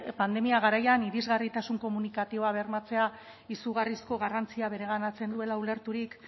pandemia garaian irisgarritasun komunikatiboa bermatzea izugarrizko garrantzia bereganatzen duela ulerturik